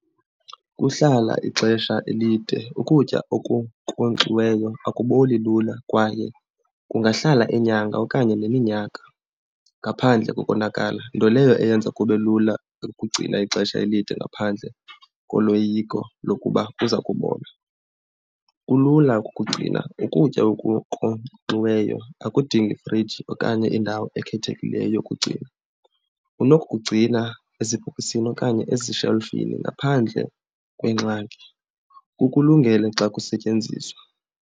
Kuhlala ixesha elide, ukutya okunkonkxiweyo akuboli lula kwaye kungahlala iinyanga okanye neminyaka ngaphandle kokonakala, nto leyo eyenza kube lula ukugcina ixesha elide ngaphandle koloyiko lokuba kuza kubola. Kulula ukukugcina, ukutya okunkonkxiweyo akudingi friji okanye indawo ekhethekileyo yokugcina. Unokukugcina ezibhokisini okanye ezishelifini ngaphandle kwengxaki. Kukulungela xa kusetyenziswa.